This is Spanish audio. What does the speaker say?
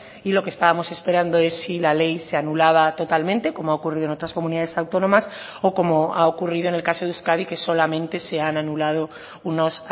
y lo que estábamos esperando es si la ley se anulaba totalmente como ha ocurrido en otras comunidades autónomas o como ha ocurrido en el caso de euskadi que solamente se han anulado unos